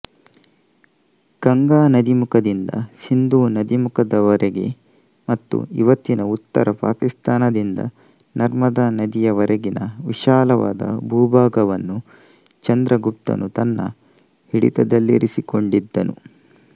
ಗಂಗಾ ನದೀಮುಖದಿಂದ ಸಿಂಧೂ ನದೀಮುಖದವರೆಗೆ ಮತ್ತು ಇವತ್ತಿನ ಉತ್ತರ ಪಾಕಿಸ್ತಾನದಿಂದ ನರ್ಮದಾ ನದಿಯವರೆಗಿನ ವಿಶಾಲವಾದ ಭೂಭಾಗವನ್ನು ಚಂದ್ರಗುಪ್ತನು ತನ್ನ ಹಿಡಿತದಲ್ಲಿರಿಸಿಕೊಂಡಿದ್ದನು